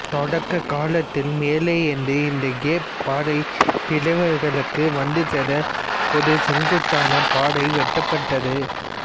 தொடக்கக் காலத்தில் மேலே இருந்து இந்த கேப் பாறைப் பிளவுகளுக்கு வந்து சேர ஒரு செங்குத்தான பாதை வெட்டப்பட்டது